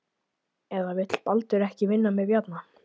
Eða vill Baldur ekki vinna með Bjarna?